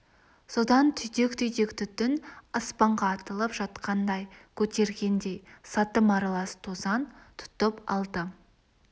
содан түйдек-түйдек түтін аспанға атылып жатқандай көтергендей сатым аралас тозаң тұтып алды